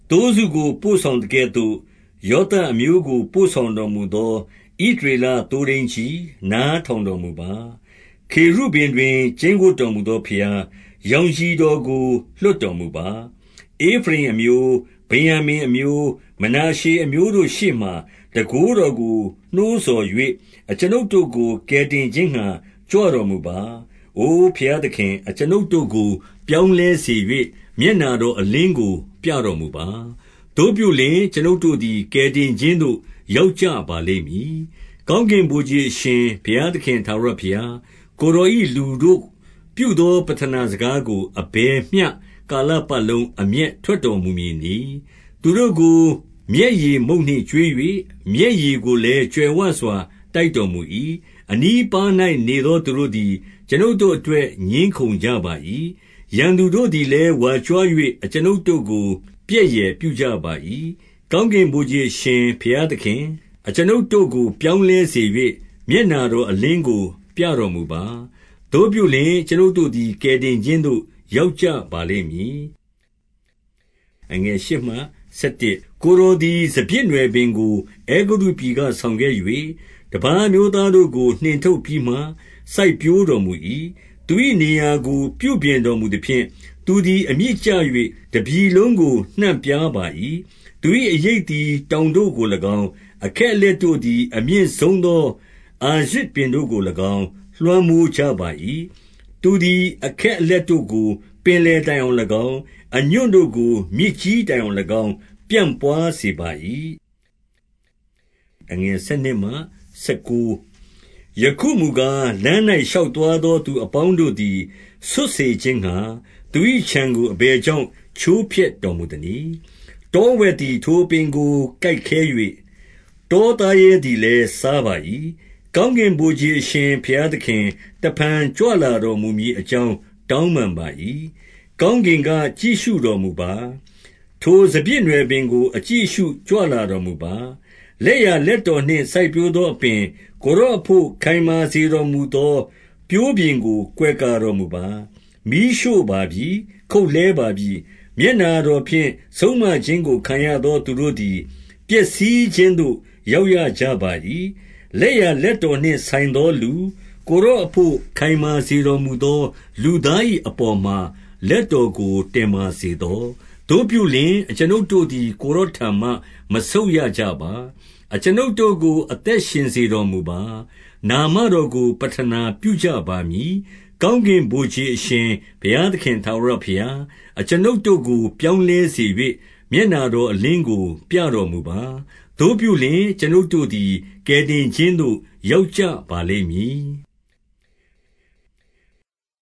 သိုးစုကို ပို့ဆောင်သကဲ့သို့ ယောသပ်အမျိုးကို ပို့ဆောင်တော်မူသော ဣသရေလသိုးထိန်းကြီး၊ နား ထောင်တော်မူပါ။ ခေရုဗိမ်တွင် ကျိန်းဝပ်တော်မူသော ဘုရား၊ ရောင်ခြည်တော်ကို လွှတ်တော်မူပါ။ ဧဖရိမ်အမျိုး၊ ဗင်္ယာမိန်အမျိုး၊ မနာရှေအမျိုးတို့ ရှေ့မှာ တန်ခိုးတော်ကို နှိုးဆော်၍၊ အကျွန်ုပ်တို့ကို ကယ်တင်ခြင်းငှါ ကြွတော်မူပါ။ အို ဘုရားသခင်၊ အကျွန်ုပ်တို့ကို ပြောင်းလဲ စေ၍၊ မျက်နှာတော် အလင်းကိုပြတော်မူပါ။ သို့ပြုလျှင်၊ အကျွန်ုပ်တို့သည် ကယ်တင်ခြင်းသို့ ရောက်ကြပါလိမ့် မည်။ ကောင်းကင်ဗိုလ်ခြေအရှင်ဘုရားသခင် ထာဝရ ဘုရား၊ ကိုယ်တော်၏ လူတို့ပြုသော ပဌနာစကားကို အဘယ်မျှကာလပတ်လုံး အမျက်ထွက်တော်မူမည်နည်း။ သူတို့ကို မျက်ရည်မုန့်နှင့်ကျွေး၍၊ မျက်ရည် ကိုလည်း ကြွယ်ဝစွာ တိုက်တော်မူ၏။ အနီးအပါး၌ နေသောသူတို့သည် အကျွန်ုပ်တို့ အတွက် ငြင်းခုံကြပါ၏။ ရန်သူတို့သည်လည်း ဝါကြွား၍ အကျွန်ုပ်တို့ကို ပြက်ယယ်ပြုကြပါ၏။ ကောင်းကင်ဗိုလ်ခြေအရှင် ဘုရားသခင်၊ အကျွန်ုပ်တို့ကို ပြောင်းလဲစေ၍၊ မျက်နှာတော်အလင်းကို ပြတော်မူပါ။ သို့ပြုလျှင် အကျွန်ုပ်တို့သည် ကယ်တင် ခြင်းသို့ ရောက်ကြပါလိမ့်မည်။ ကိုယ်တော်သည် စပျစ်နွယ်ပင်ကို အဲဂုတ္တုပြည် ကဆောင်ခဲ့၍၊ တပါးအမျိုးသားတို့ကို နှင်ထုတ်ပြီးမှ စိုက် ပျိုးတော်မူ၏။ သူ၏နေရာကိုပြုပြင်တော်မူသဖြင့်၊ သူသည် အမြစ်ကျ၍ တပြည်လုံးကို နှံ့ပြားပါ၏။ သူ၏အရိပ်သည် တောင်တို့ကို၎င်း၊ အခက် အလက်တို့သည် အမြင့်ဆုံးသော အာရဇ်ပင်တို့ကို၎င်း လွှမ်းမိုးကြပါ၏။ သူသည် အခက်အလက်တို့ကို ပင်လယ်တိုင် အောင်၎င်း၊ အညွန့်တို့ကို မြစ်ကြီးတိုင်အောင်၎င်း ပြန့်ပွား စေပါ၏။ ယခုမူကား၊ လမ်း၌ ရှောက်သွားသော သူ အပေါင်းတို့သည် ဆွတ်စေခြင်းငှါ၊ သူ၏ခြံကို အဘယ် ကြောင့် ချိုးဖျက်တော်မူသနည်း။ တောဝက်သည် ထိုအပင်ကို ကိုက်ခဲ၍၊ တော သားရဲသည်လည်း စားပါ၏။ ကောင်းကင်ဗိုလ်ခြေအရှင် ဘုရားသခင်၊ တဖန် ကြွလာတော်မူမည်အကြောင်း တောင်းပန်ပါ၏။ ကောင်း ကင်က ကြည့်ရှုတော်မူပါ။ ထိုစပျစ်နွယ်ပင်ကို အကြည့် အရှုကြွလာတော်မူပါ။ လက်ျာလက်တော်နှင့် စိုက်ပျိုးသောအပင်၊ ကိုယ်တော်အဘို့ ခိုင်မာစေတော်မူသော ပျိုးပင်ကို ကွယ်ကာတော်မူပါ။ မီးရှို့ပါပြီ။ ခုတ်လှဲပါပြီ။ မျက်နှာတော်ဖြင့် ဆုံးမခြင်းကို ခံရသော သူတို့သည် ပျက်စီးခြင်းသို့ ရောက် ရကြပါ၏။ လက်ျာလက်တော်နှင့်ဆိုင်သောလူ၊ ကိုယ်တော် အဘို့ ခိုင်မာစေတော်မူသော လူသား၏အပေါ်မှာ လက်တော်ကိုတင်ပါစေသော။ သို့ပြုလျှင် အကျွန်ုပ်တို့သည် ကိုယ်တော်ထံမှ မဆုတ်ရကြပါ။ အကျွန်ုပ်တို့ကို အသက်ရှင်စေတော်မူပါ။ နာမတော်ကို ပဌနာပြုကြပါမည်။ ကောင်းကင်ဗိုလ်ခြေအရှင် ဘုရားသခင်ထာဝရ ဘုရား၊ အကျွန်ုပ်တို့ကို ပြောင်းလဲစေ၍၊ မျက်နှာတော် အလင်းကို ပြတော်မူပါ။ သို့ပြုလျှင် အကျွန်ုပ်တို့သည် ကယ်တင်ခြင်းသို့ ရောက်ကြပါလိမ့်မည်။